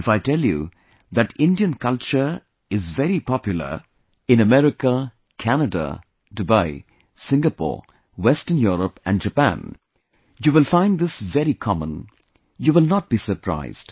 If I tell you that Indian culture is very popular in America, Canada, Dubai, Singapore, Western Europe and Japan, you will find this very common; you will not be surprised